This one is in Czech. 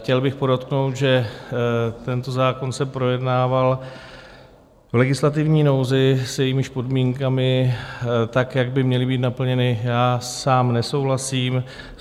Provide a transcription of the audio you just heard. Chtěl bych podotknout, že tento zákon se projednával v legislativní nouzi, s jejímiž podmínkami, tak jak by měly být naplněny, já sám nesouhlasím.